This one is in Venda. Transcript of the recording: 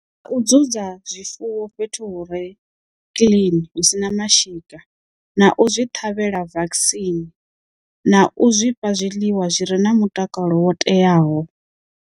U dzu dza zwifuwo fhethu hu re clean hu sina mashika na u zwi ṱhavhela vaccine na u zwi fha zwiḽiwa zwi re na mutakalo wo teaho.